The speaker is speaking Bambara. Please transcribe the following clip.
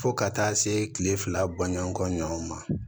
Fo ka taa se kile fila bɔɲɔn kɔɲɔn ma